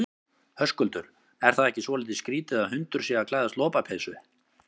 Höskuldur: Er það ekki svolítið skrítið að hundur sé að klæðast lopapeysu?